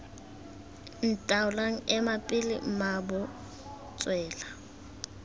ntaoleng ema pele mmaabo tswela